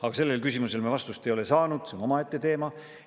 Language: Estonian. Aga sellele küsimusele me vastust ei ole saanud, see on omaette teema.